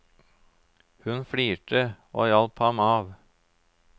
Hun flirte og hjalp ham av.